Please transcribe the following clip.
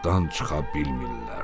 Oradan çıxa bilmirlər.